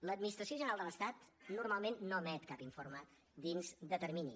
l’administració general de l’estat normalment no emet cap informe dins de termini